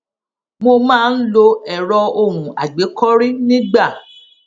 mo máa ń lo èrọ ohùn àgbékọrí nígbà